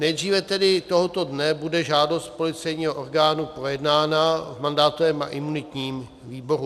Nejdříve tedy tohoto dne bude žádost policejního orgánu projednána v mandátovém a imunitním výboru.